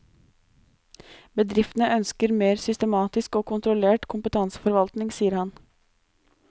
Bedriftene ønsker mer systematisk og kontrollert kompetanseforvaltning, sier han.